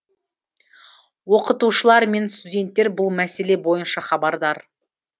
оқытушылар мен студенттер бұл мәселе бойынша хабардар